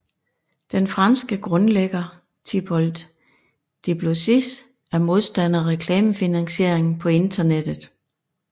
Den franske grundlægger Thibault Duplessis er modstander af reklamefinansiering på internettet